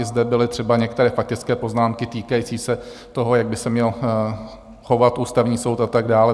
I zde byly třeba některé faktické poznámky týkající se toho, jak by se měl chovat Ústavní soud, a tak dále.